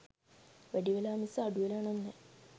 වැඩි වෙලා මිස අඩු වෙලා නම් නෑ.